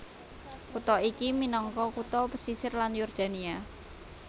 Kutha iki minangka kutha pesisir ing Yordania